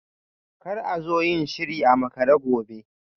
Kar a zo yin shiri a makare gobe